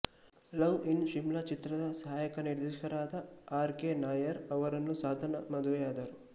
love in Shimla ಚಿತ್ರದ ಸಹಾಯಕ ನಿರ್ದೇಶಕರಾದ ಆರ್ ಕೆ ನಯ್ಯರ್ ಅವರನ್ನು ಸಾಧನಾ ಮದುವೆಯಾದರು